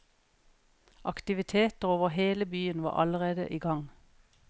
Aktiviteter over hele byen var allerede igang.